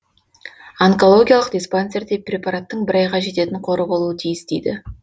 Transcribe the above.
онкологиялық диспансерде препараттың бір айға жететін қоры болуы тиіс дейді